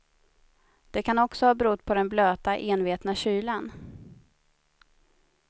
Det kan också ha berott på den blöta, envetna kylan.